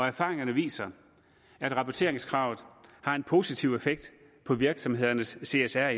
erfaringerne viser at rapporteringskravet har en positiv effekt på virksomhedernes csr